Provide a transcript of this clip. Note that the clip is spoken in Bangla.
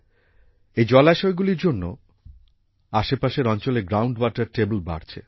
এই জলাশয়গুলির জন্য আশেপাশের অঞ্চলের গ্রাউন্ড ওয়াটার টেবল বাড়ছে